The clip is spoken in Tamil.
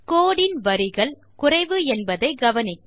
கோடு இன் வரிகள்குறைவு என்பதை கவனிக்க